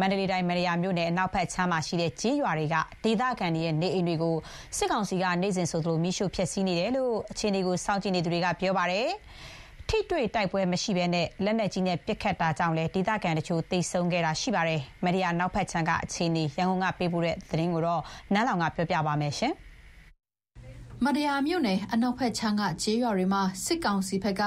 မန္တလေးတိုင်း၊ မတ္တရာမြို့နယ် အနောက်ဘက်ခြမ်းမှာရှိတဲ့ ကျေးရွာတွေက ဒေသခံနေအိမ်တွေကို စစ်ကောင်စီဘက်က နေ့စဉ် မီးရှို့ဖျက်ဆီးနေတယ်လို့ အခြေအနေ စောင့်ကြည့်သူတွေက ပြောပါတယ်။ ထိတွေ့တိုက်ပွဲမရှိဘဲ လက်နက်ကြီးနဲ့ ပစ်ခတ်တာကြောင့်လည်း ဒေသခံတချို့ သေဆုံးခဲ့ပါတယ်။ မတ္တရာအနောက်ဘက်ခြမ်းက အခြေအနေ ရန်ကုန်ဘက်က သတင်းပေးပို့တာကိုပြောပြမှာပါ။ မတ္တရာမြို့နယ် အနောက်ဘက်ခြမ်းက ကျေးရွာတွေမှာ စစ်ကောင်စီဘက်က